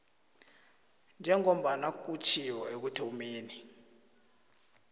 njengombana kutjhiwo ekuthomeni